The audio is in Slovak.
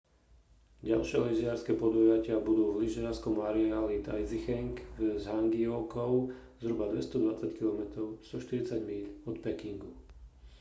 ďalšie lyžiarske podujatia budú v lyžiarskom areáli taizicheng v zhangjiakou zhruba 220 km 140 míľ od pekingu